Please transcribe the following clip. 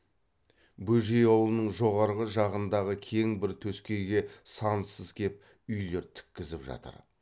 бөжей аулының жоғарғы жағындағы кең бір төскейге сансыз кеп үйлер тіккізіп жатыр